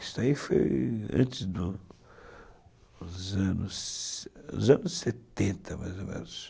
Isso aí foi antes dos, dos anos setenta, mais ou menos.